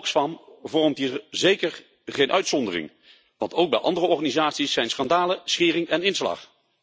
Oxfam vormt hier zeker geen uitzondering, want ook bij andere organisaties zijn schandalen schering en inslag.